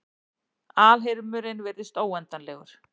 Alheimurinn virðist óendanlegur.